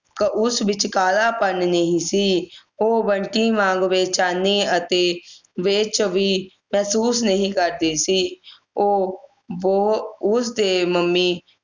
ਉਸ ਵਿਚ ਕਾਲਾਪਨ ਨਹੀਂ ਸੀ ਉਹ ਬੰਟੀ ਵਾਂਗ ਬੇਚੈਨੀ ਅਤੇ ਬੇਚ ਵੀ ਮਹਿਸੂਸ ਨਹੀਂ ਕਰਦੀ ਸੀ ਉਹ ਬਹੁ ਉਸ ਦੇ ਮੰਮੀ